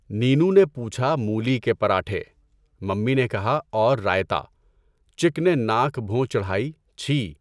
Nano نے پوچھا مولی کے پراٹھے، ممی نے کہا اور رائتہ، چک نے ناک بھوں چڑھائی چھی!